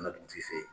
Na dugutigi fɛ ye